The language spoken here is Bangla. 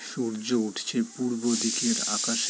সূর্য উঠছে পূর্ব দিকের আকাশে।